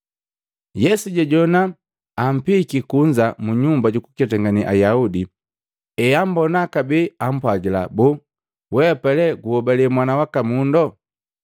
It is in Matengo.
Yesu jajowana ampihiki kunza mu Nyumba jukuketangane Ayaudi, ehambona kabee ampwagila, “Boo, weapa lee guhobale Mwana waka Mundu?”